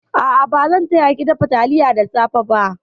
A'a, ba zan taya ki dafa taliyar da safe ba.